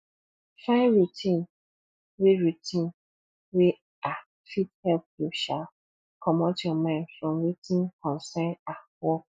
find routine wey routine wey um fit help you um comot your mind from wetin concern um work